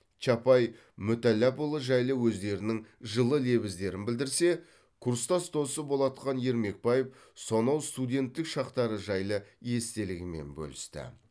чапай мүтәлләпұлы жайлы өздерінің жылы лебіздерін білдірсе курстас досы болатхан ермекбаев сонау студенттік шақтары жайлы естелігімен бөлісті